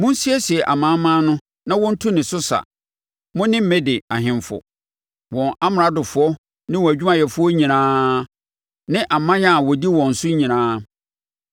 Monsiesie amanaman no ma wɔntu ne so sa, mo ne Mede ahemfo, wɔn amradofoɔ ne wɔn adwumayɛfoɔ nyinaa, ne aman a wɔdi wɔn so nyinaa.